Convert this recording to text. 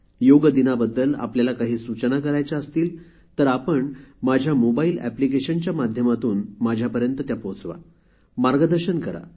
योग दिनाबद्दल आपल्याला काही सूचना करायच्या असतील तर आपण माझ्या मोबाइल एप्लिकेशनच्या माध्यमातून माझ्यापर्यंत पोचवा मार्गदर्शन करा